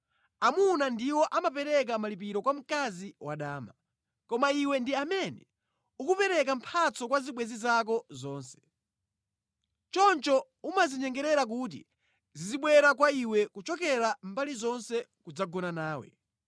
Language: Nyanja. Amuna ndiwo amapereka malipiro kwa mkazi wadama. Koma iwe ndi amene ukupereka mphatso kwa zibwenzi zako zonse. Choncho umazinyengerera kuti zizibwera kwa iwe kuchokera mbali zonse kudzagona nawe.